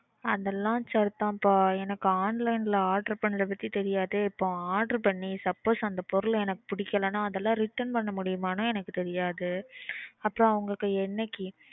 அதெல்லாம் சரிதான்பா. எனக்கு online ல order பண்றதுக்கே தெரியாதே. இப்போ order பண்ணி suppose அந்த பொருள் எனக்கு பிடிக்கலைன்னா அதெல்லாம் return பண்ண முடியுமான்னும் எனக்கு தெரியாது. அப்புறம் அவங்ககிட்ட என்னைக்கு.